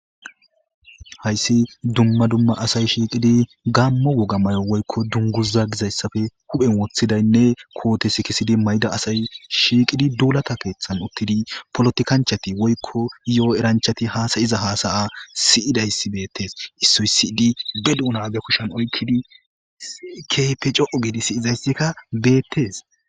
Hayssi dumma dumma asay shiiqqidi gaammo wogga mayo woykko dunguza gizayssa huphphen woththidaynne koote sikisiddi mayida asay shiiqqidi duullatta kalleththan uuttidii polittikanchchati woykko yoo eranchchti hassayiza hassaya siyizayssi beettes issoy siyidi be duunna be kushen oykidii hisi keehippe c'o'u gidaysikka beettes.